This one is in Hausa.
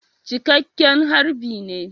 Cikakken harbi ne